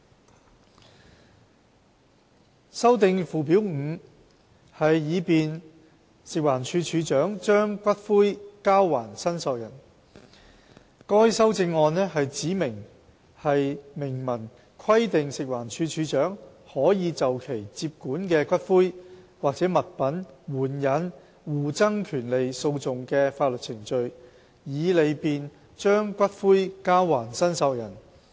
b 修訂附表 5， 以利便食環署署長把骨灰交還申索人該修正案旨在明文規定食環署署長可就其接管的骨灰及/或物品援引互爭權利訴訟的法律程序，以利便把骨灰交還申索人。